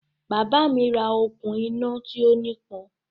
Bàbá mi ra okùn-iná tí ó nípọn.